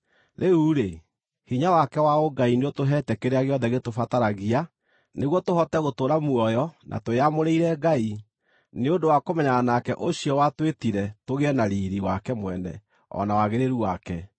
Rĩu-rĩ, hinya wake wa ũngai nĩũtũheete kĩrĩa gĩothe gĩtũbataragia nĩguo tũhote gũtũũra muoyo na twĩamũrĩire Ngai, nĩ ũndũ wa kũmenyana nake ũcio watwĩtire tũgĩe na riiri wake mwene o na wagĩrĩru wake.